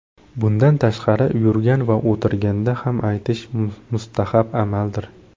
Bundan tashqari, yurgan va o‘tirganda ham aytish mustahab amaldir.